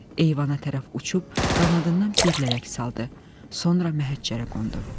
Eyvana tərəf uçub qanadından bir lələk saldı, sonra məhəccərə qondu.